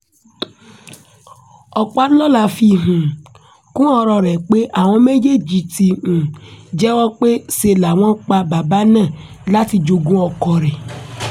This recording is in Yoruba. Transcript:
ọpàlọ́la fi um kún ọ̀rọ̀ rẹ̀ pé àwọn méjèèjì ti um jẹ́wọ́ pé ṣe làwọn pa bàbá náà láti jogún ọkọ rẹ̀